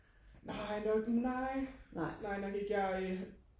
nej nok nej nej nok ikke jeg øh